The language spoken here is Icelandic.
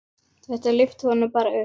Þetta lyfti honum bara upp.